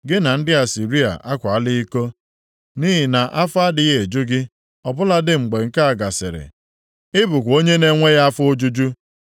Gị na ndị Asịrịa akwaala iko, nʼihi na afọ adịghị eju gị. Ọ bụladị mgbe nke a gasịrị, ị bụkwa onwe na-enweghị afọ ojuju.